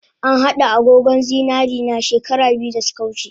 An hada agogon zinarena she kara biyu dasuka wuce